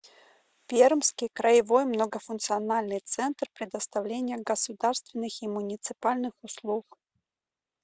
пермский краевой многофункциональный центр предоставления государственных и муниципальных услуг